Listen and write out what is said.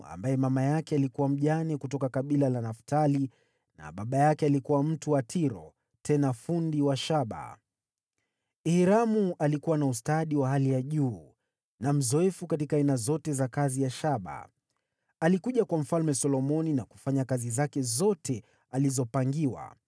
ambaye mama yake alikuwa mjane kutoka kabila la Naftali na baba yake alikuwa mtu wa Tiro tena fundi wa shaba. Hiramu alikuwa na ustadi wa hali ya juu na mzoefu katika aina zote za kazi ya shaba. Alikuja kwa Mfalme Solomoni na kufanya kazi zake zote alizopangiwa.